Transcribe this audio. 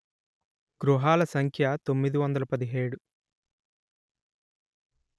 గృహాల సంఖ్య తొమ్మిది వందలు పదిహేడు